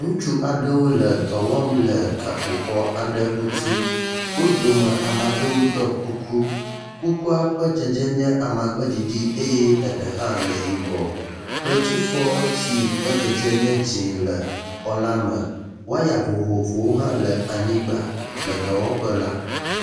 Ŋutsu aɖewo le dɔ wɔm le gakpoxɔ aɖe ŋuti. Wo dome ame aɖewo ɖɔ kuku. Kukua ƒe dzedze nye amagbeɖiɖi eye eɖe hã le yibɔ. Kletifɔ si ƒe dzedze nye dzi le xɔ la me. . Wɔya hã le anyigba le dɔwɔƒe la.